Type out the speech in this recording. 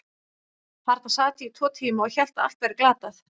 Þarna sat ég í tvo tíma og hélt að allt væri glatað.